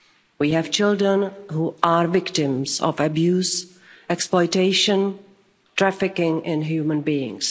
We have children who are victims of abuse, exploitation and trafficking in human beings.